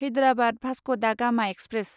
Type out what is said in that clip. Hyderabad Vasco da Gama express